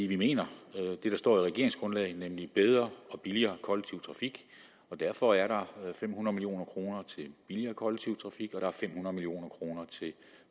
vi mener det der står i regeringsgrundlaget nemlig bedre og billigere kollektiv trafik derfor er der fem hundrede million kroner til billigere kollektiv trafik og fem hundrede million kroner til